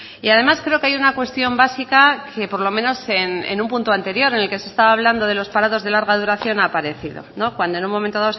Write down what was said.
y además creo que hay una cuestión básica que por lo menos en un punto anterior en el que se estaba hablando de los parados de larga duración ha aparecido cuando en un momento